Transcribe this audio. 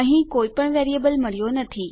અહીં કોઈ પણ વેરીએબલ મળ્યો નથી